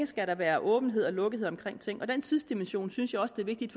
skal være åbenhed og lukkethed omkring ting og den tidsdimension synes jeg også det er vigtigt